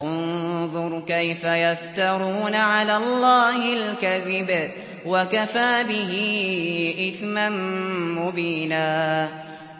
انظُرْ كَيْفَ يَفْتَرُونَ عَلَى اللَّهِ الْكَذِبَ ۖ وَكَفَىٰ بِهِ إِثْمًا مُّبِينًا